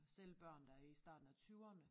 Selv børn der er i starten af tyverne